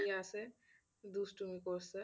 দুষ্টুমি করছে,